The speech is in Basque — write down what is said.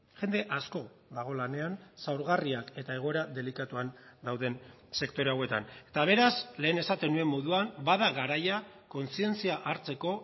jende asko dago lanean zaurgarriak eta egoera delikatuan dauden sektore hauetan eta beraz lehen esaten nuen moduan bada garaia kontzientzia hartzeko